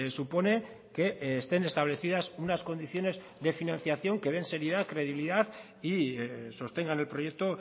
supone que estén establecidas unas condiciones de financiación que den seriedad credibilidad y sostengan el proyecto